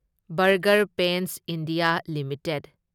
burger Paints India limited